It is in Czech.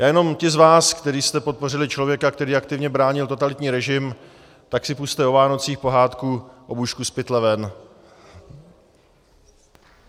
Já jenom těm z vás, kteří jste podpořili člověka, který aktivně bránil totalitní režim, tak si pusťte o Vánocích pohádku Obušku, z pytle ven!